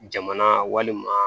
Jamana walima